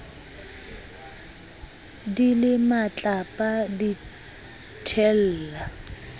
di le matlapa di thella